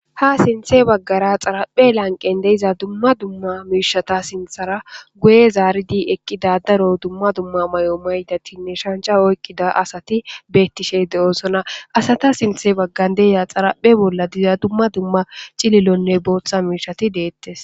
Ha sinthe baggara xaraphe lanqen deiza dumma dumma miishata sinthara guye zaaridi eqqi dadaro dumma dumma may'o maydatinne shancha oykkida asati beettishe de'oosona asata sinthe baggan deya xaraphe bolla diza dumma dumma cililonne booththa miishati deettes